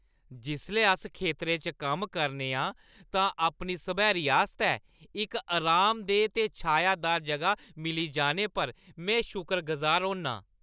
जिसलै अस खेतरें च कम्म करने आं तां अपनी सब्हैरी आस्तै इक आरामदेह् ते छांऽदार जगह मिली जाने पर में शुकरगुजार होन्नां।